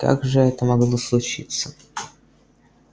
как же это могло случиться